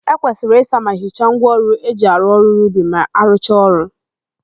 E kwesịrị ịsa ma hicha ngwaọrụ eji arụ ọrụ ubi ma a rụcha ọrụ.